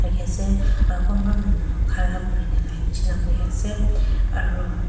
aro kumba manu khara kuri buhi ase aro--